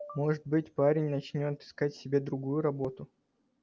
может быть парень начнёт искать себе другую работу